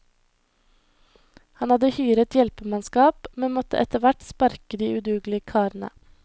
Han hadde hyret hjelpemannskap, men måtte etterhvert sparke de udugelige karene.